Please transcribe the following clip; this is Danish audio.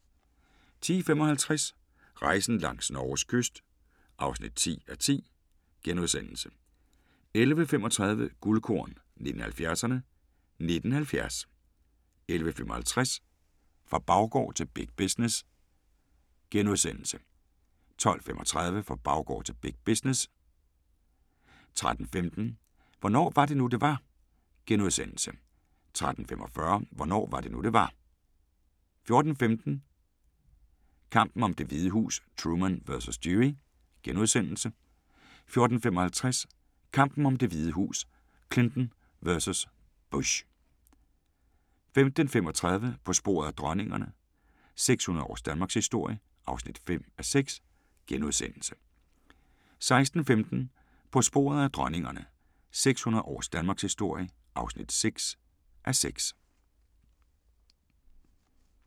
10:55: Rejsen langs Norges kyst (10:10)* 11:35: Guldkorn 1970'erne: 1970 11:55: Fra baggård til big business * 12:35: Fra baggård til big business 13:15: Hvornår var det nu, det var? * 13:45: Hvornår var det nu, det var? 14:15: Kampen om Det Hvide Hus: Truman vs. Dewey * 14:55: Kampen om Det Hvide Hus: Clinton vs. Bush 15:35: På sporet af dronningerne – 600 års Danmarkshistorie (5:6)* 16:15: På sporet af dronningerne – 600 års danmarkshistorie (6:6)